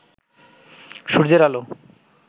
সূর্যের আলো